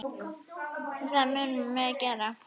Það munum við gera.